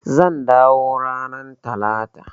Zan dawo ranar Talata.